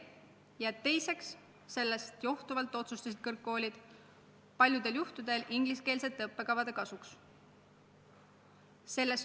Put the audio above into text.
Ja teiseks, sellest johtuvalt otsustasid kõrgkoolid paljudel juhtudel ingliskeelsete õppekavade kasuks.